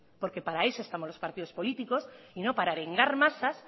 porque para eso estamos los partidos políticos y no para arengar masas